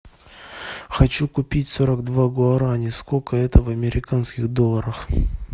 хочу купить сорок два гуарани сколько это в американских долларах